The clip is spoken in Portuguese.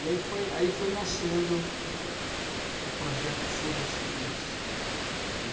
E aí foi aí foi nascendo o projeto Show Doce Criança, né?